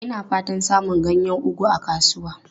Ina fatan samun ganyen ugu a kasuwa.